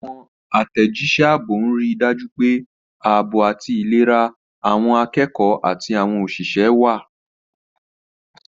Àwọn àtẹ̀jíṣẹ́ ààbò ń rí i dájú pé ààbò àti ìlera àwọn akẹ́kọ̀ọ́ àti àwọn òṣìṣẹ́ wà.